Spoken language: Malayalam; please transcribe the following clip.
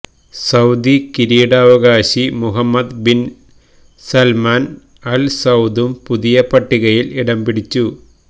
സൌദി കിരീടാവകാശി മുഹമ്മദ് ബിന് സല്മാന് അല് സൌദും പുതിയ പട്ടികയില് ഇടം പിടിച്ചു